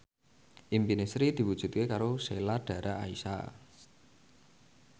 impine Sri diwujudke karo Sheila Dara Aisha